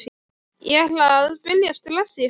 Ég ætla að byrja strax í haust.